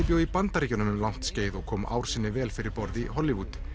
bjó í Bandaríkjunum um langt skeið og kom ár sinni vel fyrir borð í Hollywood